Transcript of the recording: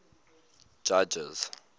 judges